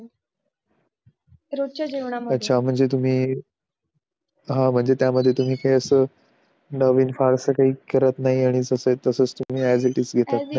रोजच्या जेवण मध्ये अच्छा म्हणजे तुम्ही हा म्हणजे तुम्ही त्या मध्ये असं काही तुम्ही नवीन फारस काही नवीन करत नाही आणि जस आहे तस आ ऍझ इट इस